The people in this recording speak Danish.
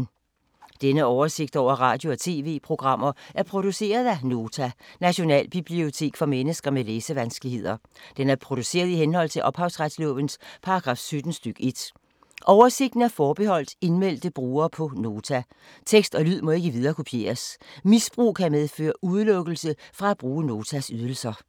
Denne oversigt over radio og TV-programmer er produceret af Nota, Nationalbibliotek for mennesker med læsevanskeligheder. Den er produceret i henhold til ophavsretslovens paragraf 17 stk. 1. Oversigten er forbeholdt indmeldte brugere på Nota. Tekst og lyd må ikke viderekopieres. Misbrug kan medføre udelukkelse fra at bruge Notas ydelser.